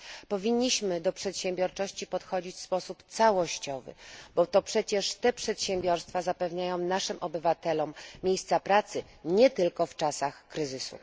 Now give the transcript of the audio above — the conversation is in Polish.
Powinniśmy do przedsiębiorczości podchodzić w sposób całościowy, bo to przecież te przedsiębiorstwa zapewniają naszym obywatelom miejsca pracy nie tylko w czasach kryzysu.